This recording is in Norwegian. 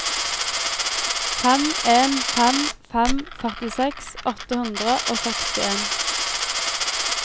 fem en fem fem førtiseks åtte hundre og sekstien